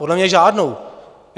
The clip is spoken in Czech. Podle mě žádnou.